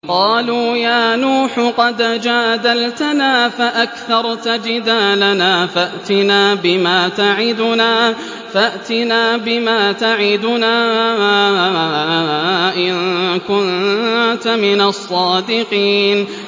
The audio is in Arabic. قَالُوا يَا نُوحُ قَدْ جَادَلْتَنَا فَأَكْثَرْتَ جِدَالَنَا فَأْتِنَا بِمَا تَعِدُنَا إِن كُنتَ مِنَ الصَّادِقِينَ